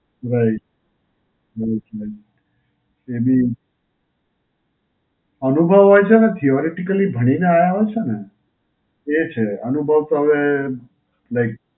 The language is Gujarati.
right. બહું જ હોય. એની, અનુભવ હોય છે અને Theoretically ભણીને આયા હોય છે ને. એ છે. અનુભવ તો હવે, right.